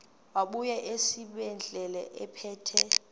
wabuya esibedlela ephethe